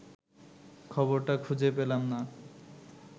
খবরটা খুঁজে পেলাম না